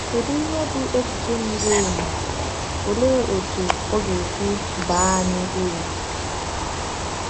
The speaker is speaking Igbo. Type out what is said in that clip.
Kedu ihe bụ echiche miri emi, olee otú ọ ga-esi baa anyị uru?